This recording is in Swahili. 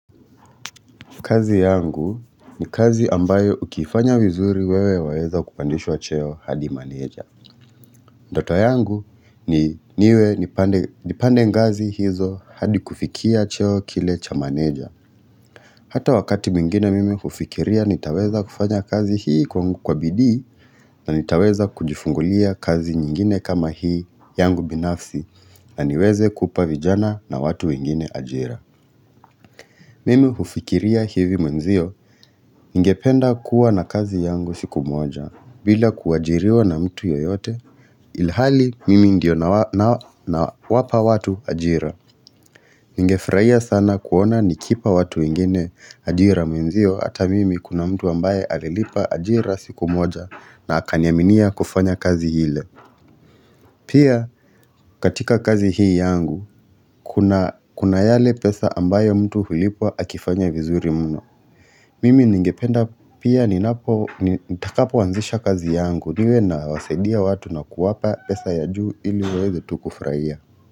Kazi yangu ni kazi ambayo ukifanya vizuri wewe waweza kupandishwa cheo hadi manager. Ndoto yangu ni niwe nipande ngazi hizo hadi kufikia cheo kile cha manager. Hata wakati mwingine mimi hufikiria nitaweza kufanya kazi hii kwa bidii na nitaweza kujifungulia kazi nyingine kama hii yangu binafsi na niweze kupavijana na watu wengine ajira. Mimi hufikiria hivi mwenzio, ningependa kuwa na kazi yangu siku moja, bila kuajiriwa na mtu yoyote. Ilhali, mimi ndio na wapa watu ajira. Ningefurahia sana kuona nikipa watu wengine ajira mwenzio ata mimi kuna mtu ambaye alilipa ajira siku moja na akaniaminia kufanya kazi ile. Pia katika kazi hii yangu kuna yale pesa ambayo mtu hulipwa akifanya vizuri mno. Mimi ningependa pia ni napo nitakapo anzisha kazi yangu niwe na wasaidia watu na kuwapa pesa ya juu iliwaweze tu kufurahia.